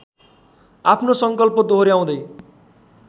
आफ्नो सङ्कल्प दोहोर्‍याउँदै